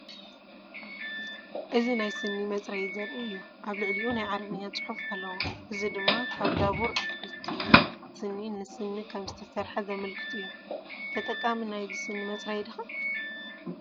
እዚ ናይ ስኒ መፅረይ ዘርኢ እዩ። ኣብ ልዕሊኡ ናይ ዓረብኛ ጽሑፍ ኣለዎ፣ እዚ ድማ ካብ "ዳቡር ኣትክልቲ ስኒ"ን ስኒን ከም ዝተሰርሐ ዘመልክት እዩ። ተጠቃሚ ናይዚ ዓይነት ስኒ መፅረይ ዲኻ?